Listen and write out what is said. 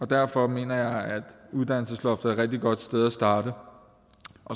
derfor mener jeg at uddannelsesloftet rigtig godt sted at starte